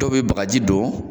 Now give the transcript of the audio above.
Dɔw be bakaji don